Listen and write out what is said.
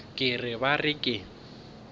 ke re ba re ke